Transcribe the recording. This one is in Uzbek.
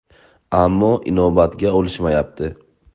Ammo inobatga olishmayapti.